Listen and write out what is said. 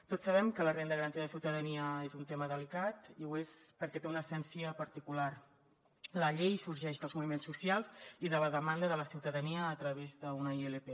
tots sabem que la renda garantida de ciutadania és un tema delicat i ho és perquè té una essència particular la llei sorgeix dels moviments socials i de la demanda de la ciutadania a través d’una ilp